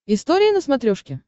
история на смотрешке